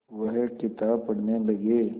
वह किताब पढ़ने लगे